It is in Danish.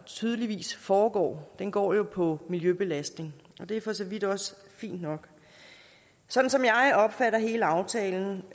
tydeligvis foregår går jo på miljøbelastningen og det er for så vidt også fint nok sådan som jeg opfatter hele aftalen